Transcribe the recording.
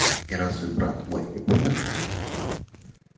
и разве брат мой не умер